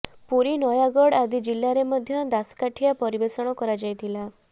ପୁରୀ ନୟାଗଡ଼ ଆଦି ଜିଲ୍ଲାରେ ମଧ୍ୟ ଦାସକାଠିଆ ପରିବେଷଣ କରାଯାଇଥାଏ